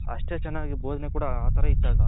ಅಷ್ಟೆ ಚೆನ್ನಾಗಿ ಬೊದನೆ ಕೂಡ ಆ ತರ ಇತ್ತು ಆಗ.